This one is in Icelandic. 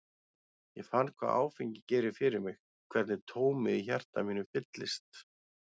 Ég fann hvað áfengi gerir fyrir mig, hvernig tómið í hjarta mínu fyllist.